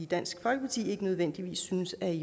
dansk folkeparti ikke nødvendigvis synes er i